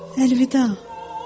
Əlvida!